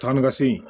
Taa ni ka segin